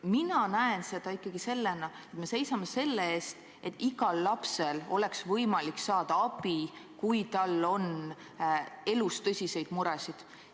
Mina näen seda ikkagi nii, et me seisame selle eest, et igal lapsel oleks võimalik saada abi, kui tal on elus tõsiseid muresid.